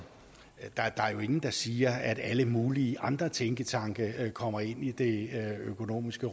er jo ingen der siger at alle mulige andre tænketanke kommer ind i det økonomiske